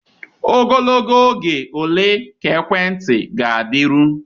Ogologo oge ole ka ekwentị ga-adịru?